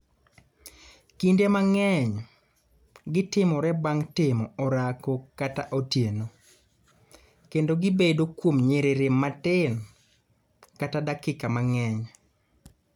Kinde mang�eny, gitimore bang� timo orako kata otieno, kendo gibedo kuom nyiriri matin kata dakika mang�eny.